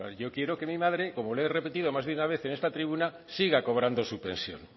yo quiero que mi madre como le he repetido más de una vez en esta tribuna siga cobrando su pensión